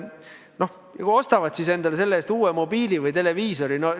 No ja kui nad ostavad siis endale selle raha eest uue mobiili või televiisori?